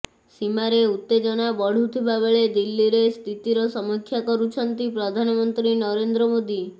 ସୀମାରେ ଉତ୍ତେଜନା ବଢ଼ୁଥିବା ବେଳେ ଦିଲ୍ଲୀରେ ସ୍ଥିତିର ସମୀକ୍ଷା କରୁଛନ୍ତି ପ୍ରଧାନମନ୍ତ୍ରୀ ନରେନ୍ଦ୍ର ମୋଦି